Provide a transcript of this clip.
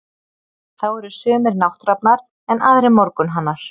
Þá eru sumir nátthrafnar, en aðrir morgunhanar.